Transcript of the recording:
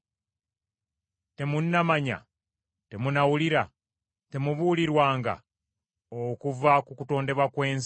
Temunnamanya, temunnawulira, temubuulirwanga okuva ku kutondebwa kw’ensi?